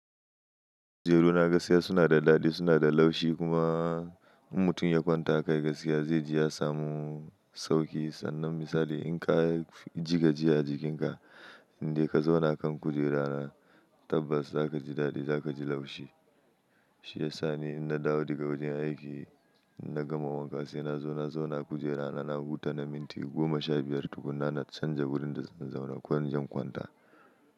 Kujeru na gaskiya suna da daɗi, suna da laushi kuma in mutum ya kwanta kai gaskiya zai ji ya samu sauƙi. Sannan misali in ka ji gajiya a jikinka in dai ka zauna kan kujera tabbas za ka ji daɗi, za ka ji laushi. Shi yasa ni in na dawo daga wajen aiki in na gama wanka sai na zauna kujera na na huta minti goma sha biyar tukuna na canja wurin da zan zauna ko in je in kwanta.